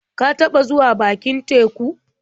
Ka taɓa zuwa bakin teku?